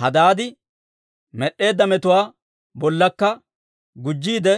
Hadaadi med'd'eedda metuwaa bollakka gujjiide,